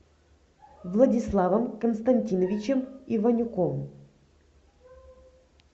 владиславом константиновичем иванюком